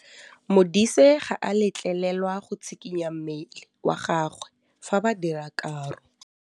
Modise ga a letlelelwa go tshikinya mmele wa gagwe fa ba dira karô.